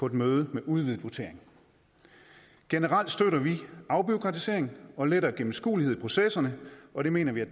et møde med udvidet votering generelt støtter vi afbureaukratisering og lettere gennemskuelighed i processerne og det mener vi at